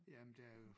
Jamen der er jo